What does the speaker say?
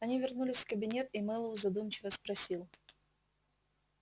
они вернулись в кабинет и мэллоу задумчиво спросил